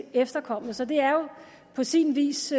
efterkommet så det er jo på sin vis